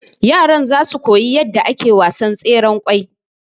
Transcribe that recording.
yaran zasu koyi yadda ake wasan tseren kwai